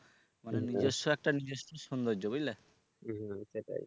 মানে নিজস্ব একটা নিজস্ব সৌন্দর্য বুঝলে। হু হু সেটাই।